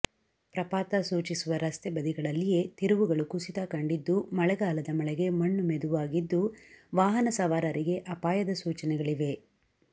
ಪ್ರಪಾತ ಸೂಚಿಸುವ ರಸ್ತೆ ಬದಿಗಳಲ್ಲಿಯೇ ತಿರುವುಗಳು ಕುಸಿತ ಕಂಡಿದ್ದು ಮಳೆಗಾಲದ ಮಳೆಗೆ ಮಣ್ಣು ಮೆದುವಾಗಿದ್ದು ವಾಹನ ಸವಾರರಿಗೆ ಅಪಾಯದ ಸೂಚನೆಗಳಿವೆ